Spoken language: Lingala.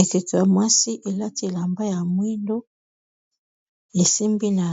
Ekeko ya mwasi elati elamba ya mwindo esimbi na